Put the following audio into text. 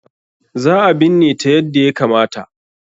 Za a binne ta yadda ya kamata.